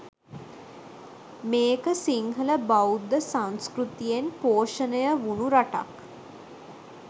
මේක සිංහල බෞද්ධ සංස්කෘතියෙන් පෝෂණය වුනු රටක්.